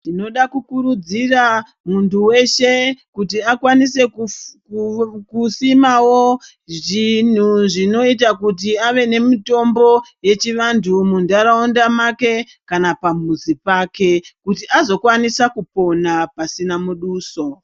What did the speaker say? Ndinoda kukurudzira muntu weshe kuti akwanise kusimawo zvinhu zvinoita kuti ave nemitombo yechivantu munharaunda make kana pamuzi pake kuti azokwanisa kupona pasina muduso